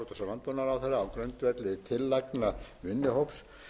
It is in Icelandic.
landbúnaðarráðherra á grundvelli tillagna vinnuhóps